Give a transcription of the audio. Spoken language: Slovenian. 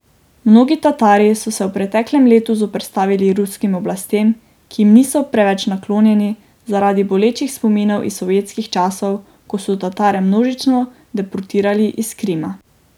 Mnogi Tatari so se v preteklem letu zoperstavili ruskim oblastem, ki jim niso preveč naklonjeni zaradi bolečih spominov iz sovjetskih časov, ko so Tatare množično deportirali iz Krima.